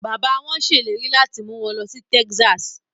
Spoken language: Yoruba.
Their father promises to take them to Texas